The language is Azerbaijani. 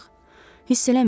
Hiss eləmirsiz?